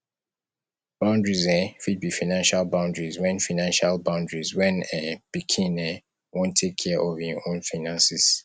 boundaries um fit be financial boundaries when financial boundaries when um pikin um wan take care of im own finances